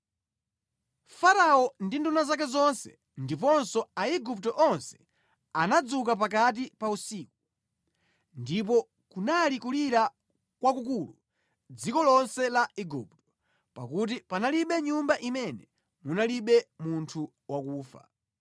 Farao ndi nduna zake zonse ndiponso Aigupto onse anadzuka pakati pa usiku, ndipo kunali kulira kwakukulu mʼdziko lonse la Igupto, pakuti panalibe nyumba imene munalibe munthu wakufa.